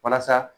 Walasa